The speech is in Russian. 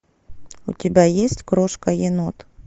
у тебя есть крошка енот